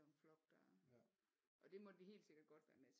Jo en flok der og det måtte vi helt sikkert godt være med